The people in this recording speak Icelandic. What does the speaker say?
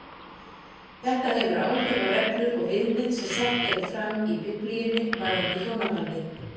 Þetta hefur áhrif á reglur og viðmið sem sett eru fram í Biblíunni varðandi hjónabandið.